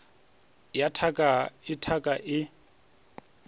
ya thaka go thaka e